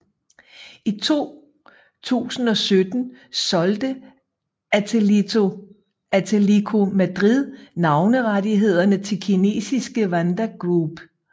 I 2017 solgte Atlético Madrid navnerettighederne til kinesiske Wanda Group